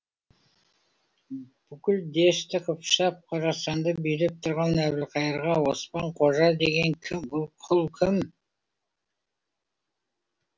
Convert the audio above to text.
бүкіл дешті қыпшақ қорасанды билеп тұрған әбілқайырға оспан қожа деген кім бұл құл кім